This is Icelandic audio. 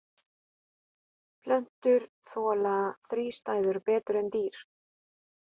Plöntur þola þrístæður betur en dýr.